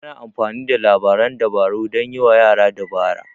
Ana amfani da labaran dabaru dan yiwa yara dabara.